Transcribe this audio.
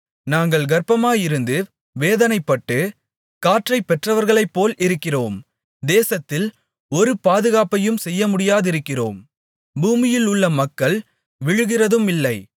நாங்கள் கர்ப்பமாயிருந்து வேதனைப்பட்டு காற்றைப் பெற்றவர்களைப்போல் இருக்கிறோம் தேசத்தில் ஒரு பாதுகாப்பையும் செய்யமுடியாதிருக்கிறோம் பூமியில் உள்ள மக்கள் விழுகிறதுமில்லை